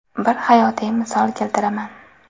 Bir hayotiy misol keltiraman.